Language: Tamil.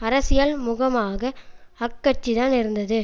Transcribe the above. அரசியல் முகமாக அக்கட்சிதான் இருந்தது